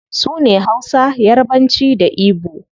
Sune hausa, yarbanci, da igbo